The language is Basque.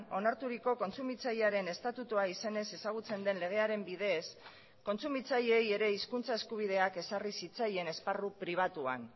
onarturiko kontsumitzailearen estatutua izenez ezagutzen den legearen bidez kontsumitzaileei ere hizkuntza eskubideak ezarri zitzaien esparru pribatuan